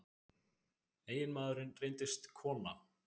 Eiginmaðurinn reyndist kona